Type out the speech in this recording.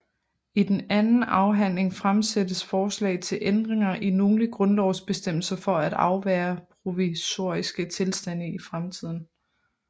I den anden afhandling fremsættes forslag til ændringer i nogle grundlovsbestemmelser for at afværge provisoriske tilstande i fremtiden